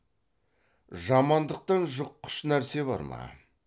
жамандықтан жұққыш нәрсе бар ма